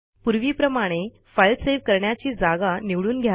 पूर्वीप्रमाणे file save कराण्याची जागा निवडून घ्या